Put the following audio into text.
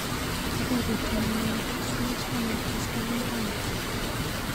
Arorutienyu nepuch sait taman koskoliny rani?